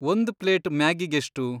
ಒಂದ್ ಪ್ಲೇಟ್ ಮ್ಯಾಗಿಗೆಷ್ಟು?